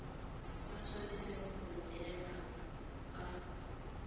ba tshwanetse go neelana ka